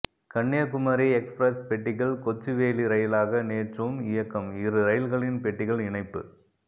Kanyakumari express பெட்டிகள் கொச்சுவேளி ரயிலாக நேற்றும் இயக்கம் இரு ரயில்களின் பெட்டிகள் இணைப்பு